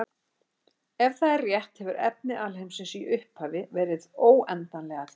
Ef það er rétt hefur efni alheimsins í upphafi verið óendanlega þétt.